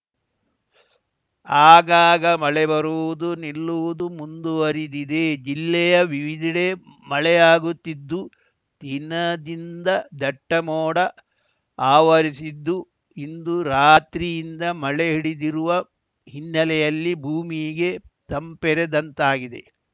ಆಗಾಗ ಮಳೆ ಬರುವುದು ನಿಲ್ಲುವುದು ಮುಂದುವರಿದಿದೆ ಜಿಲ್ಲೆಯ ವಿವಿಧೆಡೆ ಮಳೆಯಾಗುತ್ತಿದ್ದು ದಿನದಿಂದ ದಟ್ಟಮೋಡ ಆವರಿಸಿದ್ದು ಇಂದು ರಾತ್ರಿಯಿಂದ ಮಳೆ ಹಿಡಿದಿರುವ ಹಿನ್ನೆಲೆಯಲ್ಲಿ ಭೂಮಿಗೆ ತಂಪೆರೆದಂತಾಗಿದೆ